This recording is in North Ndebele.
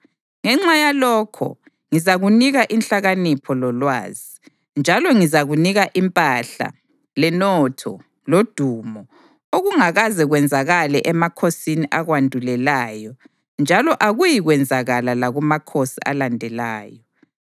ngenxa yalokho ngizakunika inhlakanipho lolwazi. Njalo ngizakunika impahla, lenotho lodumo, okungakaze kwenzakale emakhosini akwandulelayo njalo akuyikwenzakala lakumakhosi alandelayo.”